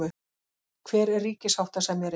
Hver er ríkissáttasemjari?